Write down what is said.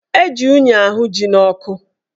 Eji unyi ahụ ji n'ọkụ